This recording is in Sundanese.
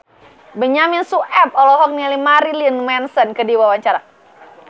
Benyamin Sueb olohok ningali Marilyn Manson keur diwawancara